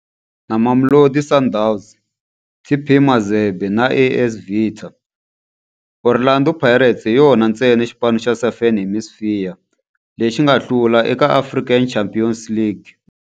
Na Mamelodi Sundowns, TP Mazembe na AS Vita, Orlando Pirates hi yona ntsena xipano xa Southern Hemisphere lexi nga hlula eka African Champions League.